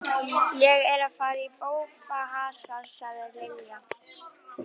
Ég er að fara í bófahasar sagði Lilla.